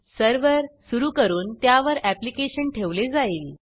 server सुरू करून त्यावर ऍप्लीकेशन ठेवले जाईल